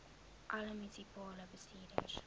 alle munisipale bestuurders